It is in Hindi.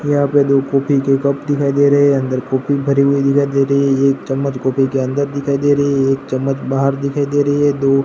यहां पे दो कॉफी के कप दिखाई दे रहे हैं अंदर कॉफी भरी हुई दिखाई दे रही है एक चम्मच कॉफी के अंदर दिखाई दे रही है एक चम्मच बाहर दिखाई दे रही है दो--